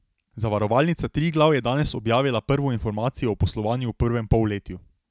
Zavarovalnica Triglav je danes objavila prvo informacijo o poslovanju v prvem polletju.